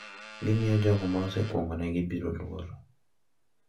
Gimiyo jogo ma osekuongonegi biro luor